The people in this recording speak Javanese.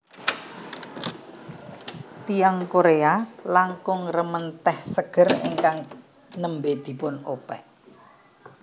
Tiyang Korea langkung remen tèh seger ingkang nembé dipunopèk